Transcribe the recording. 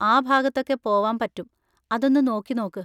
ആ ഭാഗത്തൊക്കെ പോവാൻ പറ്റും, അതൊന്ന് നോക്കി നോക്ക്.